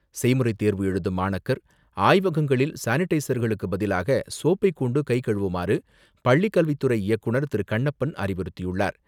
செய்முறை தேர்வு எழுதும் மாணாக்கர், ஆய்வகங்களில் சானிடைஸர்களுக்கு பதிலாக சோப்பை கொண்டு கை கழுவுமாறு, பள்ளிக்கல்வித்துறை இயக்குநர் திரு.கண்ணப்பன் அறிவுறுத்தியுள்ளார்.